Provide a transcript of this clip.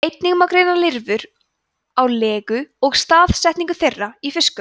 einnig má greina lirfurnar á legu og staðsetningu þeirra í fiskum